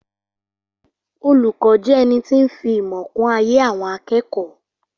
Olùkọ́ jẹ́ ẹnití ń fi ìmọ̀ kún ayé àwọn akẹ́kọ̀ọ́